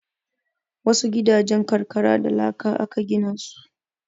Wasu gidajen karkara da laka aka gina su